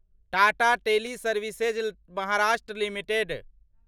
Tata teleservices Maharashtra limited